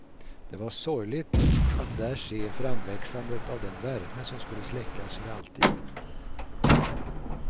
Det var sorgligt att där se framväxandet av den värme som skulle släckas för alltid.